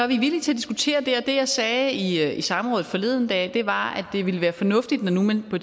vi er villige til at diskutere det og det jeg sagde i samrådet forleden dag var at det ville være fornuftigt når nu man på